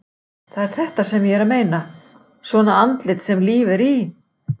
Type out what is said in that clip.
Það er þetta sem ég er að meina. svona andlit sem líf er í!